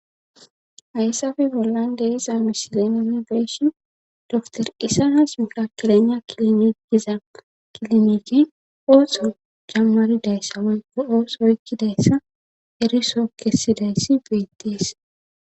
Hayssafe bollande iza misilenene beeshin dor isanas mikakilana kilomigiza kilomiiki ooso jammaridayssa oyko ooso oykkidayssa eriso kessidayssi beettees